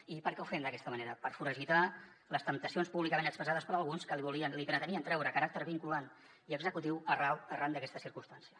i per què ho fem d’aquesta manera per foragitar les temptacions públicament expressades per alguns que li pretenien treure caràcter vinculant i executiu arran d’aquesta circumstància